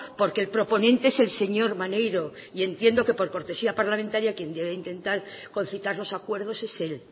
porque el proponente es el señor maneiro y entiendo que por cortesía parlamentaria quien debe intentar concitar los acuerdos es él